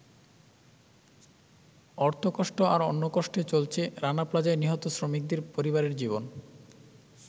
অর্থকষ্ট আর অন্নকষ্টে চলছে রানা প্লাজায় নিহত শ্রমিকদের পরিবারের জীবন।